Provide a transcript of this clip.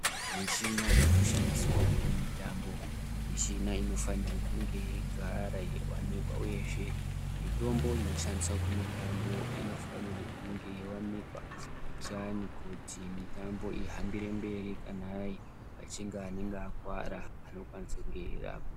Michina inoshandiswa kumutambo michina anofanira kunge yeigara yeiwanikwa uyezve mitombo inoshandiswa kumutambo inofanirwa kunge yeiwanikwa kuitira kuti mitambo ihambire mberi kana pachinge pane akuvara anokwanisa kunge achirapwa.